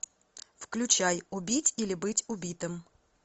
включай убить или быть убитым